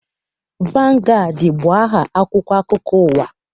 Vangaadị bụ aha akwụkwọ akụkọ ụwa.